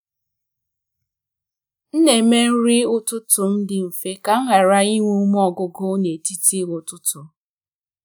m na-eme nri ụtụtụ m dị mfe ka m ghara inwe ume ọgwụgwụ n’etiti ụtụtụ.